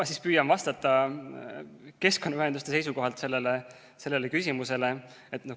Ma siis püüan vastata keskkonnaühenduste seisukohalt sellele küsimusele.